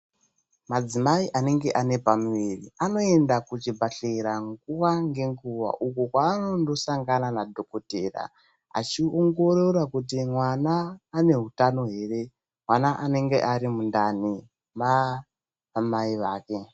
Madzimai anenge ane pamuviri anoenda kuchibhedhlera nguwa ngenguwa, uko kwevanondosangana nadhogodheya, achiongorora kuti mwana ane utano here. Mwana anenge ari mundani maamai vake.